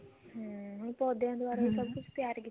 ਹਮ ਹੁਣ ਪੋਦਿਆਂ ਦਵਾਰਾ ਸਭ ਕੁੱਛ ਤਿਆਰ